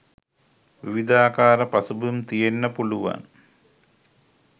විවිධාකාර පසුබිම් තියෙන්න පුළුවන්.